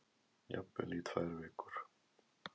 Jafnvel í tvær vikur.